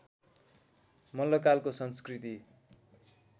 मल्लकालको संस्कृति